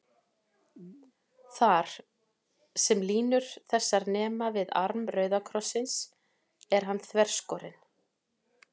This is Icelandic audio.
Þar, sem línur þessar nema við arm rauða krossins, er hann þverskorinn.